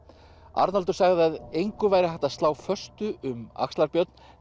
Arnaldur sagði að engu væri hægt að slá föstu um axlar Björn